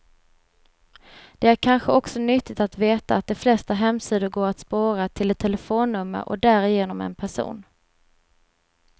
Det är kanske också nyttigt att veta att de flesta hemsidor går att spåra, till ett telefonnummer och därigenom en person.